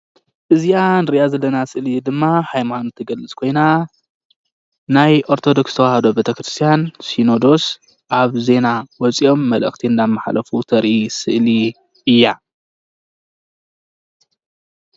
እዚኣ ንርእያ ዘለና ስእሊ ድማ ሃይማኖት ትገልፅ ኮይና ናይ ኦርቶዶክስ ተዋህዶ ቤተ ክርስትያን ሲኖዶስ ኣብ ዜና ወፂኦም መልእክቲ እንዳመሓለፉ ተርኢ ስእሊ እያ ።